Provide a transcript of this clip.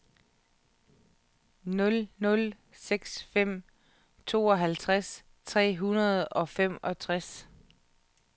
nul nul seks fem tooghalvfjerds tre hundrede og femogtres